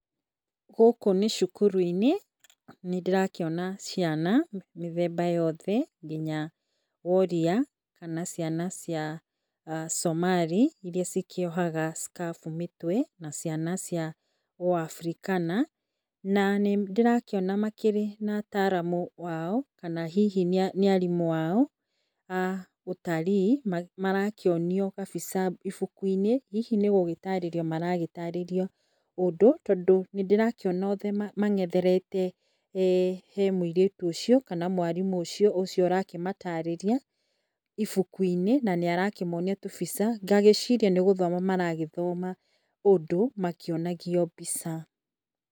Gũkũ nĩ cukuru- ĩnĩ nĩndĩrakĩona ciana mĩthemba yothe nginya woria kana ciana cia somali irĩa cikĩohaga scarf mũtwe na ciana cia ũafrikana. Nanĩndĩrakĩona makĩrĩ na a ataramu ao kana hihi nĩ arimũ ao ah na marakĩonio kabica ibuku -inĩ hihi nĩgũtarĩrio maragĩtarĩrio ũndũ tondũ, nĩndĩrakĩona othe mang'etherete hee mũirĩtu ũcio na mwarimũ ũcio arakĩmatarĩria ibuku -inĩ nanĩarakĩmonia tũbica ngagĩciria nĩgũthoma maragĩthoma ũndũ makĩonagio mbica.